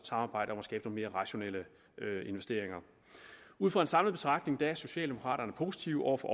samarbejder efter mere rationelle investeringer ud fra en samlet betragtning er socialdemokraterne positive over for